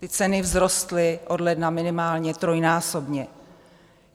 Ty ceny vzrostly od ledna minimálně trojnásobně.